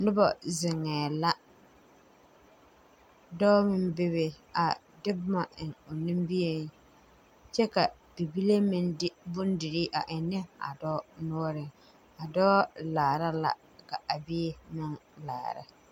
Nobɔ zeŋɛɛ la dɔɔ meŋ bebe a de bomma eŋ o nimieŋ kyɛ ka bibile meŋ de bondirii a eŋnɛ a dɔɔ noɔreŋ a dɔɔ laara la ka a bie meŋ laara.